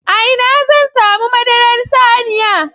A ina zan samu madarar saniya?